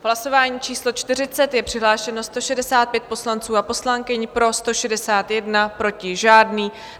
V hlasování číslo 40 je přihlášeno 165 poslanců a poslankyň, pro 161, proti žádný.